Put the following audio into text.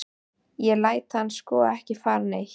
Ég læt hann sko ekki fara neitt.